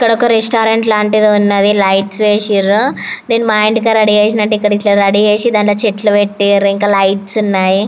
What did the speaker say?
ఇక్కడ ఒక రెస్తౌరంత్ లాటిది ఉంది లైట్స్ వేసినారు నేను మా ఇంటి దగిర రెడీ చేసినట్టు ఇట్లా చేసి దానిలో చెట్లు పెట్టినారు ఇంక లైట్స్ ఉన్నాయి.